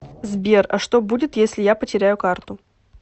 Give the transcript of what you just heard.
сбер а что будет если я потеряю карту